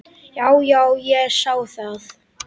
Já, já, ég sá það.